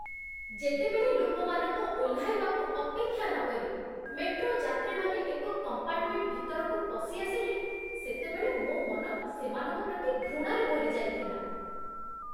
ଯେତେବେଳେ ଲୋକମାନଙ୍କ ଓହ୍ଲାଇବାକୁ ଅପେକ୍ଷା ନକରି ମେଟ୍ରୋ ଯାତ୍ରୀମାନେ ଏକ କମ୍ପାର୍ଟମେଣ୍ଟ ଭିତରକୁ ପଶି ଆସିଲେ, ସେତେବେଳେ ମୋ ମନ ସେମାନଙ୍କ ପ୍ରତି ଘୃଣାରେ ଭରିଯାଇଥିଲା।